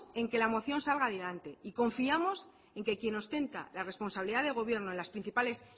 en que la moción salga adelante y confiamos en que quien ostenta la responsabilidad de gobierno de las principales